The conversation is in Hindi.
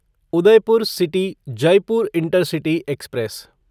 Udaipur city Jaipur intercity express